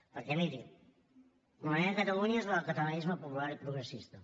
perquè miri la meva catalunya és la del catalanisme popular i progressista